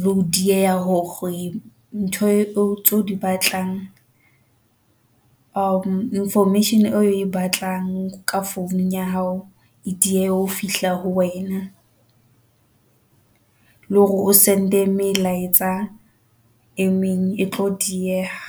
le ho dieha hore ntho tseo o di batlang information o e batlang ka founung ya hao. E diehe ho fihla ho wena, le hore o send-e melaetsa e meng e tlo dieha.